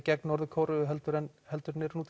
gegn Norður Kóreu heldur en heldur en nú